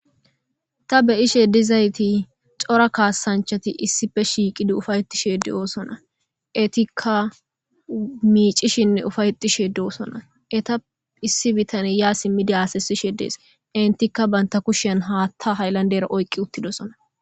ta be'ishe dizayti xora kaasanchati issife shiiqidi ufa'etishe de'oosona etikka miicishinne ufa'etishe de'osona eta issi bitane yaa simmidi haseyishise dees entikka banta kushan haatta haylandera oyqqi uttidosona